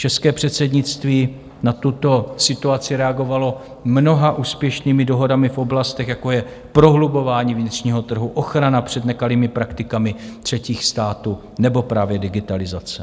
České předsednictví na tuto situaci reagovalo mnoha úspěšnými dohodami v oblastech, jako je prohlubování vnitřního trhu, ochrana před nekalými praktikami třetích států nebo právě digitalizace.